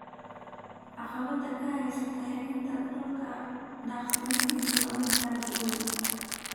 Caqabadda ka haysata helitaanka dhul daaqsimeedku waa mid aad u weyn.